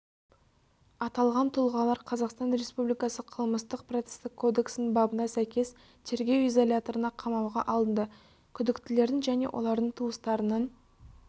аталған тұлғалар қазақстан республикасы қылмыстық-процестік кодексінің бабына сәйкес тергеу изоляторына қамауға алынды күдіктілердің және олардың туыстарының